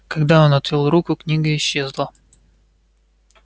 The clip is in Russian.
когда он отвёл руку книга исчезла